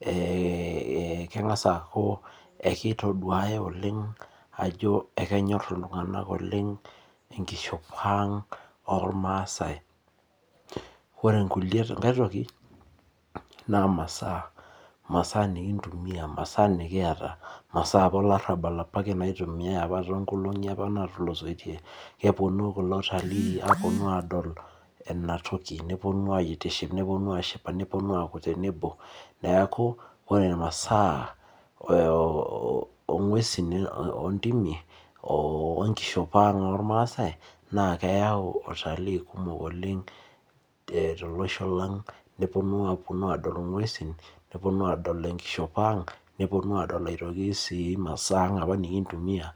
ee keng'as aaku ekitoduay oleng ajo ekenyor iltunganak oleng enkishopo ang', ilmaasae. ore enkae toki naa masaa, masaa nikimtumia masaa nikiata, masaa olarabal apake naitumiae too nkolong'i apa naatulusoitir, kepuonu kulo watalii aapuonu aadol Ina toki, nepuonu, ashipa, nepuonu ajing tenebo. neeku, ore masaa oo nguesin oo ntimi, oo nkishopo ang' ollmaasae, naa keyau watalii kumok oleng tolosho lang. Epuonu adol nguesin, nepuonu aadol masaa anga apa nikintumia.